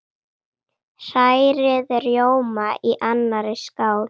Hrærið rjóma í annarri skál.